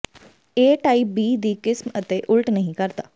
ਏ type B ਦੀ ਕਿਸਮ ਅਤੇ ਉਲਟ ਨਹੀਂ ਕਰਦਾ